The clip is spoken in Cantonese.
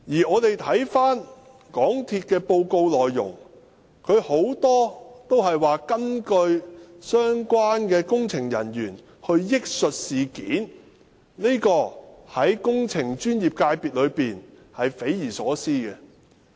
港鐵公司的報告內容，有很多根本是相關工程人員憶述的事件，這點對工程專業界別來說是匪夷所思的。